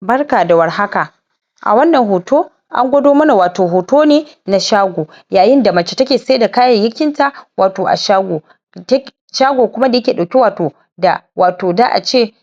Barka da war haka a wannan hoto an gwado mana wato hoto ne na shago yayin da mace take saida kayyakin ta wato a shago shago kuma da yake dauki wato da wato za'a ce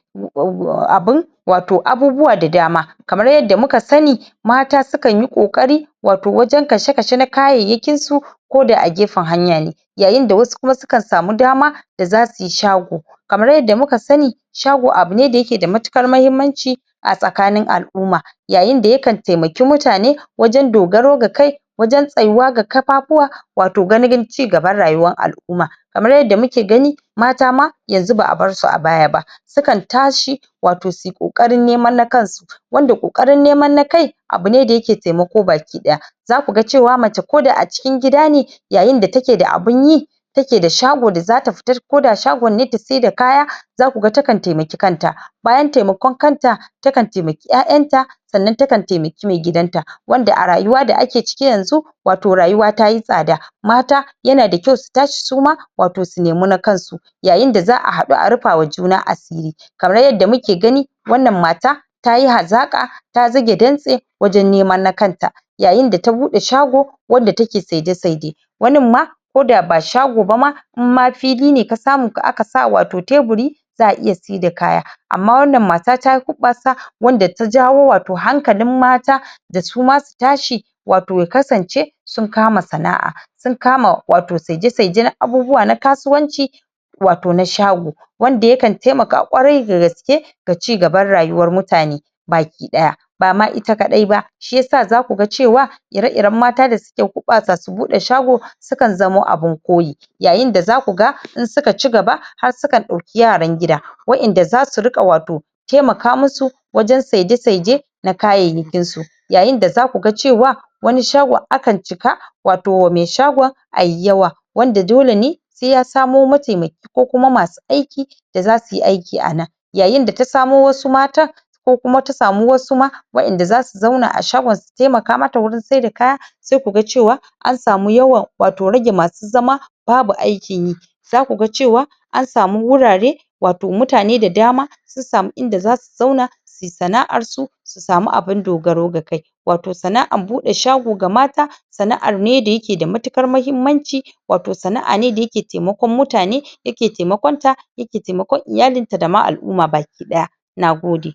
abun wato abubuwa da dama kamar yadda mika sani mata su kanyi kokari wato wajen kashekashe na kayayyakin su ko da a gefen hanya ne yayin da wasu su kan samu dama da zasuyi shago kamar yadda muka sani shago abune da yake da matuƙar mahimmanci a tsakanin al'umma yayin yakan taimake mutane wajen dogaro ga kai wajen tsyuwa ga kafafuwa wato ganin cigaban rayuwan al'umma kamar yadda muke gani mata ma yanzu ba'a bar su a baya ba sukan tashi wato suyi koƙarin neman na kan su wanda koƙarin neman na kai abune da yake taimako baki ɗaya zaku ga cewa mace ko da a cikin gida ne yayin da take da abun yi take da shagon da zata fita koda sahgon ne ta saida kaya zaku ga takan taimaki kanta bayan taimakon kanta ta kan taimaki 'ya'yan ta sannan ta kan taimaki mai gidan ta wanda a rayuwa da ake ciki yanzu wato rayuwa tayi tsaɗa mata yana da ƙyau su tashi su ma wato su nemi na kan su yayin da za'a haɗu a rufa wa juna asiri kamar yadda muke gani wannan mata tayi hazaka ta zuge ɗanse wajen neman na kanta yayin da ta buɗe shago wanda take saide saide wanin ma koɗa ba shago bama in ma fili ne ta samu wanda aka sa wato taburi za'a iya saida kaya amma wannan mata tayi huɓɓasa wanda ta jawo wato hankalin mata da suma su tashi wato ya kasance sun kama sana'a sun kama wato saide saide na abubuwa na kasuwanci wato na shago wanda yakan taimaka ƙwarai dagaske da cigabar rayuwan mutane baki ɗaya bama ita kadai ba shiyasa zaku ga cewa ire iren mata da suke hubɓasa su buɗe shago su kan zamo abun koyi yayin da zaku ga in suka cigaba har su kan dauki yaran gida wa'enda zasu ringa wato taimaka musu wajen saide saide na kayayyakin su yayin da zaku ga cewa wani shgon akan cika wato wa mai shagon ayi yawa wanda da dole ne sai ya samo ma taimaki ko kuma masu aiki da zasuyi aiki anan yayin da taso wasu matan ko kuma ta samu wasu ma wa'enda zasu zauna a shagon su taimaka mata wajen saida kaya sai ku ga cewa an samu yawan wato rage masu zama babu aikin yi zaku ga cewa an samu wurare wato mutane da dama sun samu inda zasu zauna suyi sana'ar su su samu abun dogaro ga kai wato sana'ar bude shago ga mata sana'ar ne da yake da matuƙar mahimmanci wato sana'a ne da yake taimakon mutane yake taimakon ta yake taimakon iyalin ta da ma al'umma baki ɗaya nagode